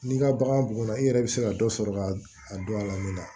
N'i ka bagan bugunna i yɛrɛ bɛ se ka dɔ sɔrɔ ka a dɔn a la min na